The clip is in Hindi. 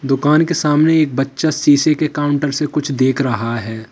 दुकान के सामने एक बच्चा शीशे के काउंटर से कुछ देख रहा है।